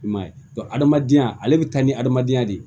I m'a ye hadamadenya ale bɛ taa ni adamadenya de ye